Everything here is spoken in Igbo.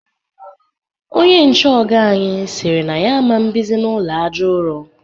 Onye nche ọga anyị siri na ya aman bizi n'ụlọ àjà ụrọ